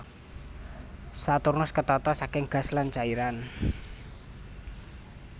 Saturnus ketata saking gas lan cairan